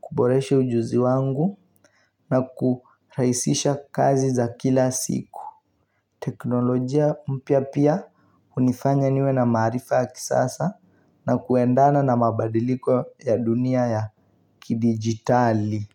kuboresha ujuzi wangu na kuraisisha kazi za kila siku teknolojia mpya pia unifanya niwe na marifa ya kisasa na kuendana na mabadiliko ya dunia ya ki digitali.